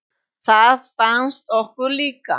Það fannst okkur líka.